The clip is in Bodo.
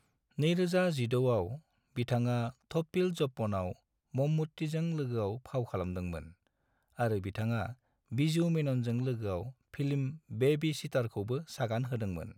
2016 आव, बिथाङा 'थोप्पील जोप्पन'आव मम्मुट्टीजों लोगोआव फाव खालामदोंमोन, आरो बिथाङा बिजू मेननजों लोगोआव फिल्म 'बेबी सिटार'खौबो सागान होदोंमोन।